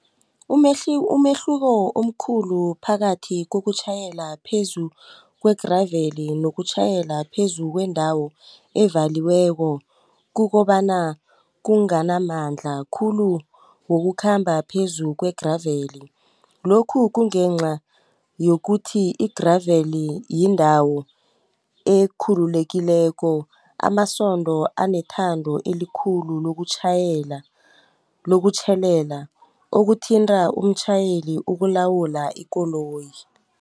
Umehluko omkhulu phakathi kokutjhayela phezu kwe-gravel nokutjhayela phezu kwendawo evaliweko, kukobana kunganamandla khulu wokukhamba phezu kwe-gravel. Lokhu kungenca yokuthi i-gravel yindawo ekhululekileko, amasondo anethando elikhulu lokutjhelela okuthinta umtjhayeli ukulawula ikoloyi.